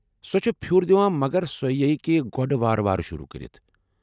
سۄ چھےٚ پھِیوٗر دِوان مگر سۄ ہٮ۪کہ گۄڑٕ وارٕ وارٕ شروع كرِتھ ۔